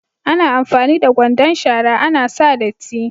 Ana amfani da kwandon shara ana sa datti.